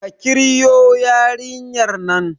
ka kirwo yarinyar nan!